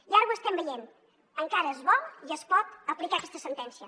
i ara ho estem veient encara es vol i es pot aplicar aquesta sentència